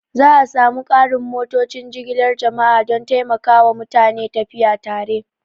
Za a sa mu ƙarin motocin jigilar jama'a don taimakawa mutane tafiya tare